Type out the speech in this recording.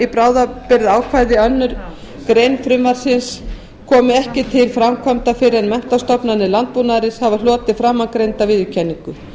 bráðabirgðaákvæði að annarri grein frumvarpsins komi ekki til framkvæmda fyrr en menntastofnanir landbúnaðarins hafa hlotið framangreinda viðurkenningu